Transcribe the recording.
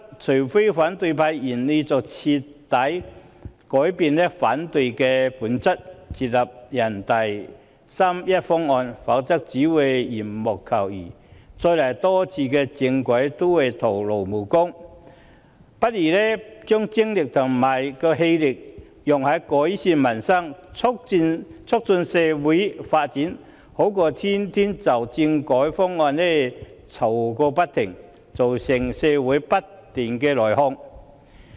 除非反對派願意徹底改變，接納人大八三一決定方案，否則只會是緣木求魚，再多幾次政改也只是徒勞無功，不如把精力放在改善民生和促進社會發展上，總比天天就政改方案吵個不停，造成社會不斷內耗好。